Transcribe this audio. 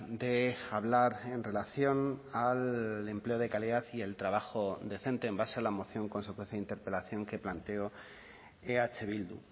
de hablar en relación al empleo de calidad y el trabajo decente en base a la moción consecuencia de interpelación que planteó eh bildu